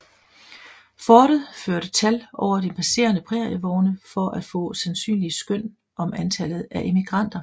Fortet førte tal over de passerende prærievogne for at få sandsynlige skøn om antallet af emigranter